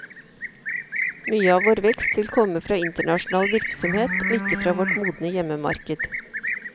Mye av vår vekst vil komme fra internasjonal virksomhet, og ikke fra vårt modne hjemmemarked.